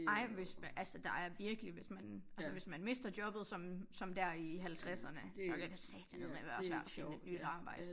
Ej hvis altså der er virkelig hvis man altså hvis man mister jobbet som som der i halvtredserne så kan satanedme være svært at finde et nyt arbejde